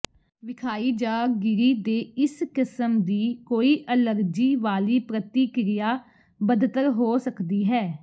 ਵਿਖਾਈ ਜ ਗਿਰੀ ਦੇ ਇਸ ਕਿਸਮ ਦੀ ਕੋਈ ਅਲਰਜੀ ਵਾਲੀ ਪ੍ਰਤਿਕਿਰਿਆ ਬਦਤਰ ਹੋ ਸਕਦੀ ਹੈ